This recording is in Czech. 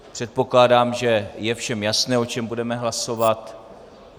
Předpokládám, že je všem jasné, o čem budeme hlasovat.